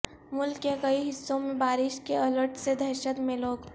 ملک کے کئی حصوں میں بارش کے الرٹ سے دہشت میں لوگ